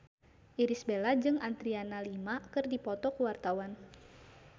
Irish Bella jeung Adriana Lima keur dipoto ku wartawan